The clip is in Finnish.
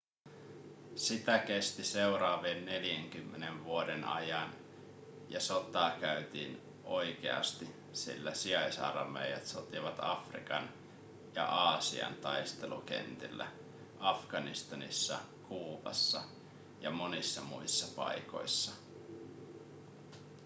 sitä kesti seuraavien 40 vuoden ajan ja sotaa käytiin oikeasti sillä sijaisarmeijat sotivat afrikan ja aasian taistelukentillä afganistanissa kuubassa ja monissa muissa paikoissa